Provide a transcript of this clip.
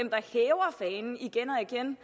igen og igen